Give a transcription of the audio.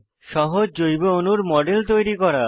সহজ জৈব অণুর মডেল তৈরি করা